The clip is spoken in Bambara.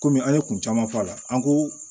Komi an ye kun caman fɔ a la an ko